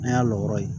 An y'a lɔgɔ ye